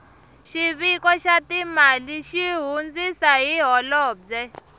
xiviko xa timali xi hundzisa hi holobye